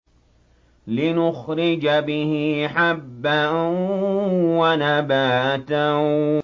لِّنُخْرِجَ بِهِ حَبًّا وَنَبَاتًا